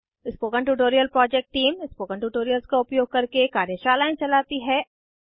spoken tutorial project team spoken tutorials का उपयोग करके कार्यशालाएं चलाती है